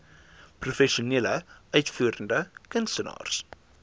professionele uitvoerende kunstenaars